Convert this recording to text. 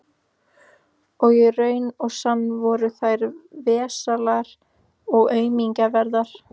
Og í raun og sann voru þær vesælar og aumkunarverðar.